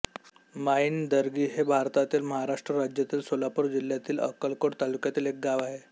माईणदरगी हे भारतातील महाराष्ट्र राज्यातील सोलापूर जिल्ह्यातील अक्कलकोट तालुक्यातील एक गाव आहे